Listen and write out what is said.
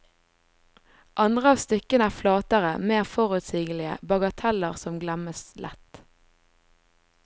Andre av stykkene er flatere, mer forutsigelige, bagateller som glemmes lett.